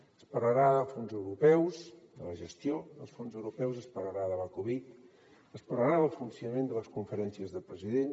s’hi parlarà dels fons europeus de la gestió dels fons europeus s’hi parlarà de la covid s’hi parlarà del funcionament de les conferències de presidents